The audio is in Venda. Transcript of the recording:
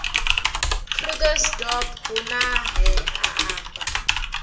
krugersdorp hu ne ha amba